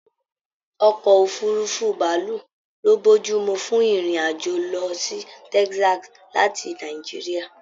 Ọkọ òfurùnfu bàálù lo bojumu fún ìrìn àjò lọ sí Texas láti Nàìjíríà.